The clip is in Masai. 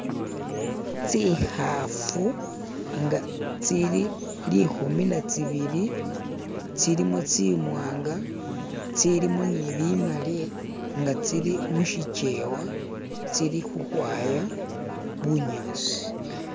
tsihafu nga tsili lihumi natsibili tsilimo tsimwanga tsilimu nibimali nga tsili mushichewa tsili huhwaya bunyasi